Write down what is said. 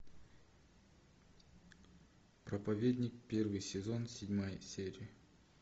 проповедник первый сезон седьмая серия